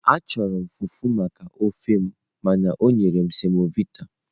Achọrọ m fufu maka ofe m mana o nyere m semovita.